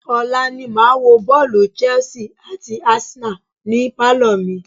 Ọ̀la ni màá wo bọ́ọ̀lù Chelse àti Arsenal ni pálọ̀ mi.